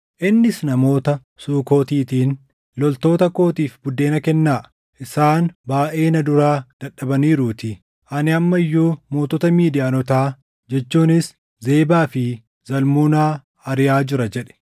Innis namoota Sukootiitiin, “Loltoota kootiif buddeena kennaa; isaan baayʼee na duraa dadhabaniiruutii; ani amma iyyuu mootota Midiyaanotaa jechuunis Zebaa fi Zalmunaa ariʼaa jira” jedhe.